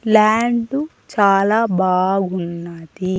Land చాలా బాగున్నది.